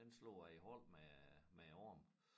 Den slog jeg et hul med med æ arm